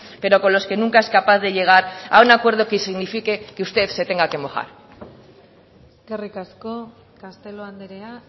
pero con los que nunca es capaz de llegar a un acuerdo que signifique que usted se tenga que mojar eskerrik asko castelo andrea